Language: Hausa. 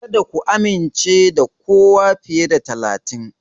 Kada ku amince da kowa fiye da talatin.